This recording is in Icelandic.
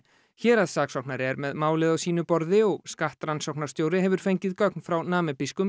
héraðssaksóknari er með málið á sínu borði og skattrannsóknarstjóri hefur fengið gögn frá